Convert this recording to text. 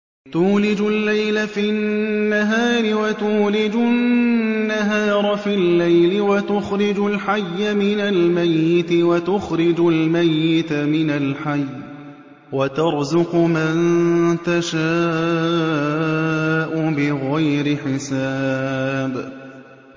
تُولِجُ اللَّيْلَ فِي النَّهَارِ وَتُولِجُ النَّهَارَ فِي اللَّيْلِ ۖ وَتُخْرِجُ الْحَيَّ مِنَ الْمَيِّتِ وَتُخْرِجُ الْمَيِّتَ مِنَ الْحَيِّ ۖ وَتَرْزُقُ مَن تَشَاءُ بِغَيْرِ حِسَابٍ